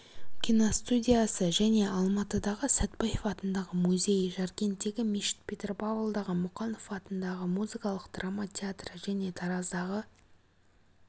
киностудиясы және алматыдағы сәтпаев атындағы музей жаркенттегі мешіт петропавлдағы мұқанов атындағы музыкалық-драма театры және тараздағы